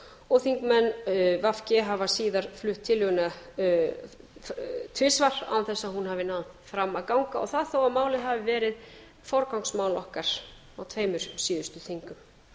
og þingmenn v g hafa síðan flutt tillöguna tvisvar án þess að hún hafi náð fram að ganga og það þó málið hafi verið forgangsmál okkar á tveimur síðustu þingum